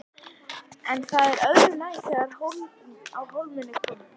En það er öðru nær þegar á hólminn er komið.